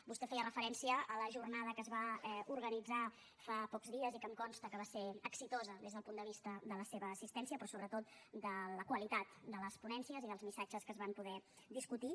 vostè feia referència a la jornada que es va organitzar fa pocs dies i que em consta que va ser exitosa des del punt de vista de la seva assistència però sobretot de la qualitat de les ponències i dels missatges que s’hi van poder discutir